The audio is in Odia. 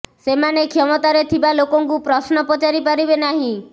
ସେମାନେ କ୍ଷମତାରେ ଥିବା ଲୋକଙ୍କୁ ପ୍ରଶ୍ନ ପଚାରି ପାରିବେ ନାହିଁ